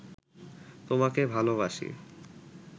তোমাকে ভালোবাসি